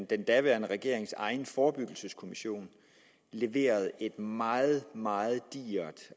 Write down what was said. den daværende regerings egen forebyggelseskommission leverede et meget meget digert